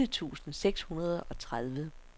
otte tusind seks hundrede og tredive